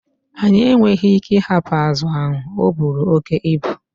Anyị enweghị ike ịhapụ azụ ahụ, ọ buru oke ibu.